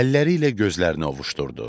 Əlləri ilə gözlərini ovuşdurdu.